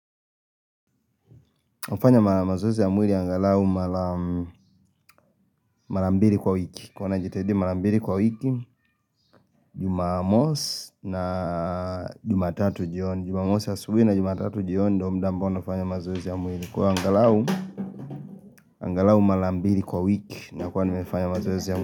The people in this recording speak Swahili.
Hufanya mazoezi ya mwili angalau mara mbili kwa wiki. Huwa najitahidi mara mbili kwa wiki Jumamosi na jumatatu jioni. Jumamosi asubuhi na jumatatu jioni ndo mda ambao nafanya mazoezi ya mwili. Kwa angalau mara mbili kwa wiki nakua nimefanya mazoezi ya mwili.